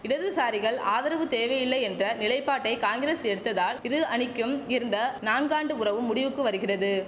இடதுசாரிகள் ஆதரவு தேவையில்லை என்ற நிலைப்பாட்டை காங்கிரஸ் எடுத்ததால் இரு அணிக்கும் இருந்த நான்கு ஆண்டு உறவும் முடிவுக்கு வருகிறது